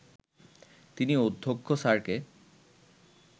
তিনি অধ্যক্ষ স্যারকে